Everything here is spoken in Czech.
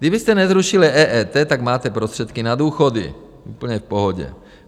Kdybyste nezrušili EET, tak máte prostředky na důchody úplně v pohodě.